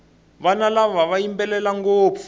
vana lava va yimbelela ngopfu